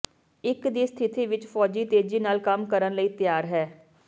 ਇੱਕ ਦੀ ਸਥਿਤੀ ਵਿੱਚ ਫੌਜੀ ਤੇਜ਼ੀ ਨਾਲ ਕੰਮ ਕਰਨ ਲਈ ਤਿਆਰ ਹੈ